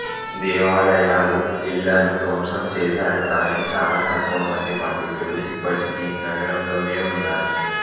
దేవాలయాలు ఇళ్ళను ధ్వంసం చేసారు కానీ చాలా తక్కువ మంది పండితులు ఇప్పటికీ నగరంలోనే ఉన్నారు